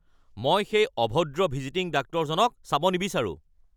মই সেই অভদ্ৰ ভিজিটিং ডাক্তৰজনক চাব নিবিচাৰোঁ।